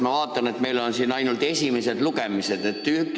Ma vaatan, et meil on siin ainult esimesed lugemised.